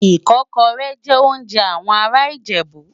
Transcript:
Ikòkòrè jè óonjè áwòn àrá Ijebu